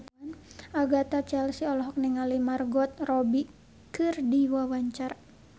Agatha Chelsea olohok ningali Margot Robbie keur diwawancara